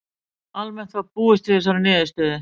Almennt var búist við þessari niðurstöðu